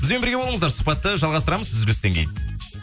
бізбен бірге болыңыздар сұхбатты жалғастырамыз үзілістен кейін